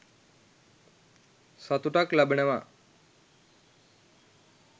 සතුටක් ලබනවා.